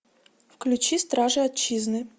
включи стражи отчизны